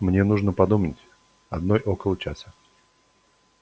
мне нужно подумать одной около часа